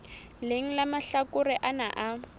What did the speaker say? leng la mahlakore ana a